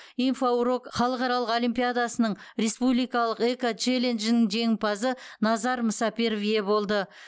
инфоурок халықаралық олимпиадасының республикалық экочелленджінің жеңімпазы назар мұсаперов ие болды